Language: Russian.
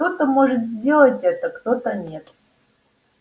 кто-то может сделать это кто-то нет